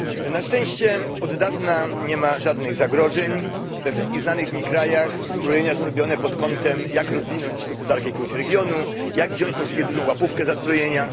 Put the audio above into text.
Na szczęście od dawna nie ma żadnych zagrożeń we wszystkich znanych mi krajach uzbrojenia są robione pod kątem, jak rozwinąć gospodarkę jakiegoś regionu, jak wziąć możliwie dużą łapówkę za zbrojenia.